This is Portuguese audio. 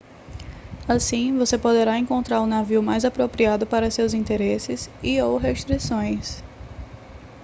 assim você poderá encontrar o navio mais apropriado para seus interesses e/ou restrições